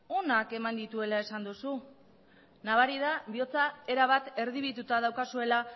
onak eman dituela esan duzu nabari da bihotza erabat erdibituta daukazuela